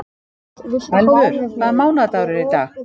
Elfur, hvaða mánaðardagur er í dag?